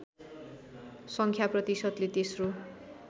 सङ्ख्या प्रतिशतले तेस्रो